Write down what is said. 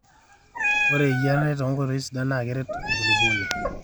ore eyiarare tenkoitoi sidai naa keret enkulupuoni